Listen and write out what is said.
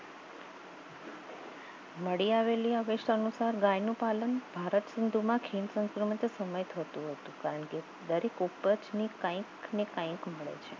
મળી આવેલી અવેસા અનુસાર ગાયનું પાલન ભારત સિંધુમાં ખીણ સંસ્કૃતિ સમય થતું હતું દરેક ઉપરથ કંઈક ને કંઈક